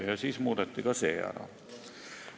Pärast seda muudeti ka see ära.